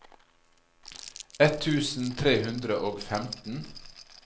ett tusen tre hundre og femten